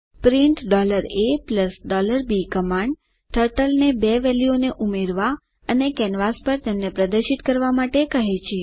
print a b command ટર્ટલને બે વેલ્યુઓને ઉમેરવા અને કેનવાસ પર તેમને પ્રદર્શિત કરવા માટે કહે છે